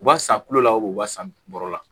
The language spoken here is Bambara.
U b'a san kulo la u b'a san bɔrɔ la